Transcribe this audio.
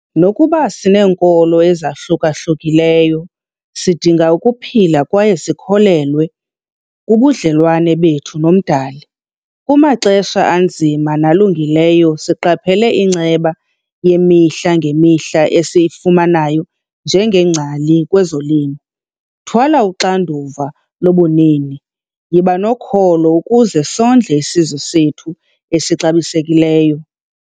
Nokuba sineenkolo ezahluka-hlukileyo, sidinga ukuphila kwaye sikholelwe kubudlelwane bethu noMdali. Kumaxesha anzima nalungileyo siqaphele inceba yemihla ngemihla esiyifumanayo njengeengcali kwezolimo. Thwala uxanduva lobunini, yiba nokholo ukuze sondle isizwe sethu esixabisekileyo..